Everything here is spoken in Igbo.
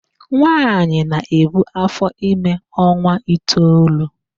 Nwaanyị na-ebu áfọ́ime ọnwa itoolu.